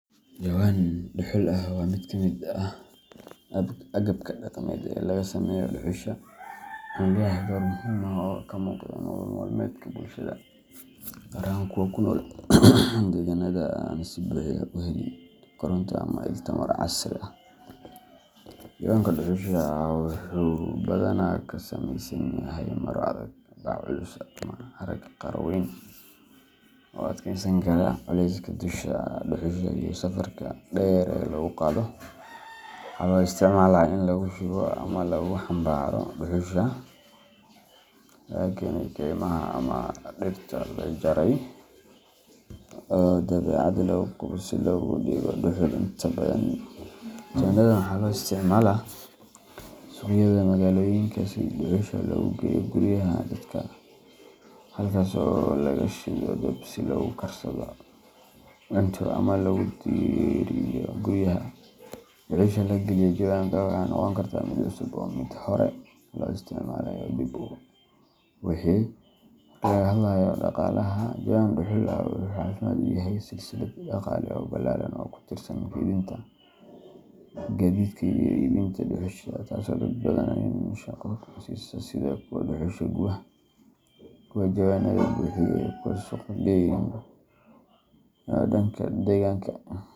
Jawan dhuxul ah waa mid ka mid ah agabka dhaqameed ee laga sameeyo dhuxusha, wuxuuna leeyahay door muhiim ah oo ka muuqda nolol maalmeedka bulshada, gaar ahaan kuwa ku nool deegaanada aan si buuxda u helin koronto ama il tamar casri ah. Jawanka dhuxusha ah wuxuu badanaa ka samaysan yahay maro adag, bac culus, ama harag qaro weyn oo u adkeysan kara culeyska dhuxusha iyo safarka dheer ee lagu qaado. Waxaa loo isticmaalaa in lagu shubo ama lagu xambaaro dhuxusha laga keenay kaymaha ama dhirta la jaray oo dabadeed lagu gubo si looga dhigo dhuxul. Inta badan, jawanadan waxaa loo isticmaalaa suuqyada magaalooyinka si dhuxusha loogu geeyo guryaha dadka, halkaas oo laga shido dab si loogu karsado cunto ama loogu diiriyo guryaha. Dhuxusha la geliyo jawanka waxay noqon kartaa mid cusub ama mid hore loo soo isticmaalay oo dib loo buuxiyey. Marka laga hadlayo dhaqaalaha, jawan dhuxul ah wuxuu calaamad u yahay silsilad dhaqaale oo ballaaran oo ku tiirsan keydinta, gaadiidka, iyo iibinta dhuxusha, taas oo dad badan shaqo siisa sida kuwa dhuxusha guba, kuwa jawanada buuxiya, iyo kuwa suuqa geyna. Dhanka deegaanka.